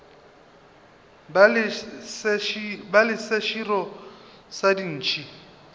ba le seširo sa dintšhi